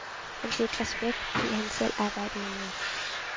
Han fik respekt, fordi han selv arbejdede med.